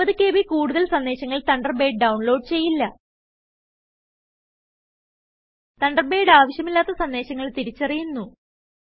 60KBകൂടുതൽ സന്ദേശങ്ങൾ Thunderbird download ചെയ്യില്ല Thunderbird ആവിശ്യമില്ലാത്ത സന്ദേശങ്ങൾ തിരിച്ചറിയുന്നു